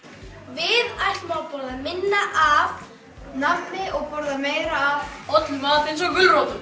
við ætlum að borða minna af nammi og borða meira af hollum mat eins og gulrótum